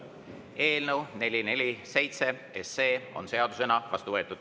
Eelnõu 447 on seadusena vastu võetud.